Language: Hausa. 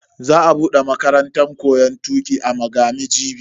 Za a bude makarantan koyon tuki a Magami jibi.